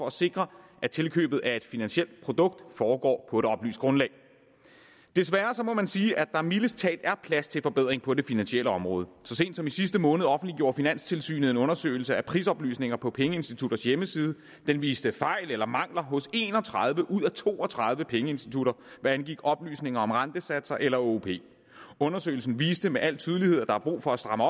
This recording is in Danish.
at sikre at tilkøbet af et finansielt produkt foregår på et oplyst grundlag desværre må man sige at der mildest talt er plads til forbedringer på det finansielle område så sent som i sidste måned offentliggjorde finanstilsynet en undersøgelse af prisoplysninger på pengeinstitutters hjemmeside den viste fejl eller mangler hos en og tredive ud af to og tredive pengeinstitutter hvad angik oplysninger om rentesatser eller åop undersøgelsen viste med al tydelighed at der er brug for at stramme